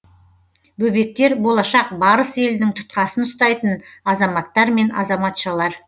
бөбектер болашақ барыс елінің тұтқасын ұстайтын азаматтар мен азаматшалар